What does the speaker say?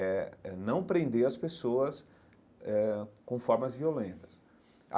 É é não prender as pessoas eh com formas violentas.